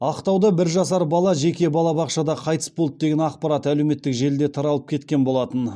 ақтауда бір жасар бала жеке балабақшада қайтыс болды деген ақпарат әлеуметтік желіде таралып кеткен болатын